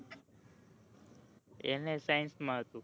એને science માં હતું